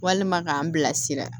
Walima k'an bilasira